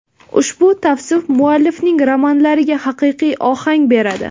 Ushbu tavsif muallifning romanlariga haqiqiy ohang beradi.